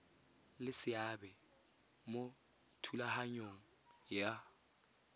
le seabe mo thulaganyong ya